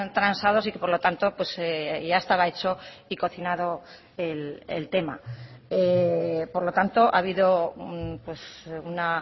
transados y que por lo tanto ya estaba hecho y cocinado el tema por lo tanto ha habido una